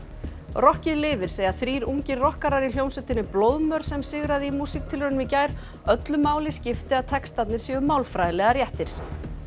rokkið lifir segja þrír ungir rokkarar í hljómsveitinni blóðmör sem sigraði í músíktilraunum í gær öllu máli skipti að textarnir séu málfræðilega réttir